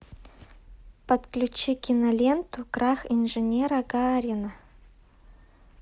подключи киноленту крах инженера гарина